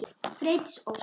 Freydís Ósk.